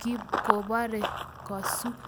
chi kobore kosuk.